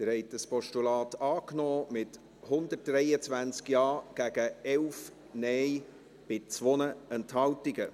Sie haben dieses Postulat angenommen, mit 123 Ja- gegen 11 Nein-Stimmen bei 2 Enthaltungen.